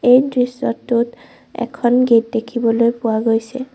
এই দৃশ্যটোত এখন গেট দেখিবলৈ পোৱা গৈছে।